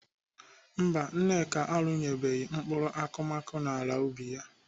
Mba, Nneka arụnyebeghị mkpụrụ akụmakụ n'ala ubi ya.